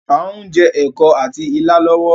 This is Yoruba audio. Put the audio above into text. Áà ń jẹ́ ẹ̀kọ àti ìlà lọ́wọ́